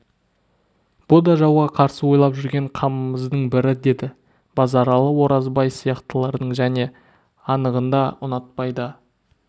бұ да жауға қарсы ойлап жүрген қамымыздың бірі деді базаралы оразбай сияқтылардың және анығында ұнатпай да